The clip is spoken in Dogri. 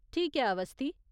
ठीक ऐ, अवस्थी।